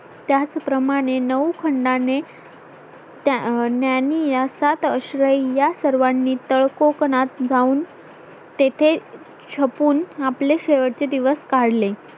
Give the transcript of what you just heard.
त्याचप्रमाणे नऊ खंडाने ज्ञानियास सात आश्रया सर्वांनी तळकोकणात जाऊन तेथें छपून आपले शेवटचे दिवस काढले